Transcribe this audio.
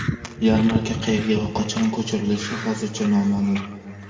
Yarmarka qayerga va qachon ko‘chirilishi hozircha noma’lum.